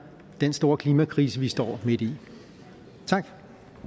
den store klimakrise vi står midt i tak